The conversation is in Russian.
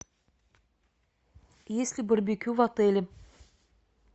есть ли барбекю в отеле